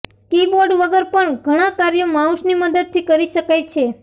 કી board વગર પણ ઘણાં કાર્યો માઉસની મદદથી કરી શકાય છે